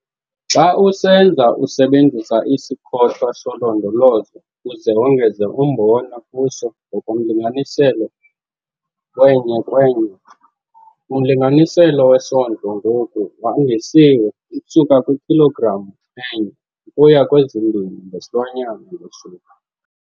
Xa usenza usebenzisa isikhothwa solondolozo uze wongeze umbona kuso ngokomlinganiselo we-1:1. Umlinganiselo wesondlo ngoku wandisiwe ukusuka kwikhilogram enye ukuya kwezimbini ngesilwanyana ngosuku.